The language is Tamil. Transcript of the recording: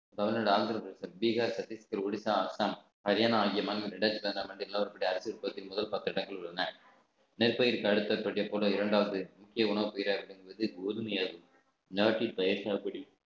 தமிழ்நாடு பீகார் சத்தீஸ்கர் ஒரிசா ஆசாம் ஹரியானா ஆகிய மாநிலங்கள் ரெண்டாயிரத்து பதினாறு ஆண்டின் நிலவரப்படி முதல் பத்து இடங்கள் உள்ளன நெற்பயிருக்கு அடுத்த பெட்டியைப் போல இரண்டாவது முக்கிய உணவுப் பயிராக விளங்குவது கோதுமை நாட்டின் பயிர் சாகுபடி